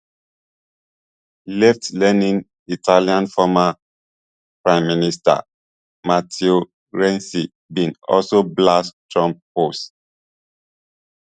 leftleaning italian former prime minister matteo renzi bin also blast trump post